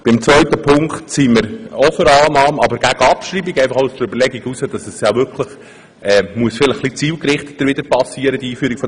Beim zweiten Punkt sind wir für die Annahme, aber gegen die Abschreibung, aus der Überlegung heraus, dass die Einführung der Basisstufe ein wenig zielgerichteter vonstattengehen soll.